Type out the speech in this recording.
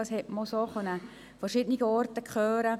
Das konnte man auch von verschiedenen Seiten hören.